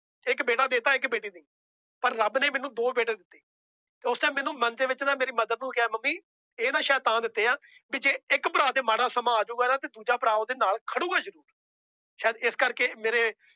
ਇੱਕ ਬੇਟਾ ਦੇ ਦਿੱਤਾ ਇੱਕ ਬੇਟੀ ਦੇਈਂ ਪਰ ਰੱਬ ਨੇ ਮੈਨੂੰ ਦੋ ਬੇਟੇ ਦਿੱਤੇ ਤੇ ਉਸ time ਮੈਨੂੰ ਮਨ ਦੇ ਵਿੱਚ ਨਾ ਮੇਰੀ mother ਨੂੰ ਕਿਹਾ ਮੰਮੀ ਇਹ ਮੈਂ ਸ਼ਾਇਦ ਤਾਂ ਦਿੱਤੇ ਹੈ ਵੀ ਜੇ ਇੱਕ ਭਰਾ ਤੇ ਮਾੜਾ ਸਮਾਂ ਆ ਜਾਊਗਾ ਨਾ ਤੇ ਦੂਜਾ ਭਰਾ ਉਹਦੇ ਨਾਲ ਖੜੇਗਾ ਜ਼ਰੂਰ ਸ਼ਾਇਦ ਇਸ ਕਰਕੇ ਮੇਰੇ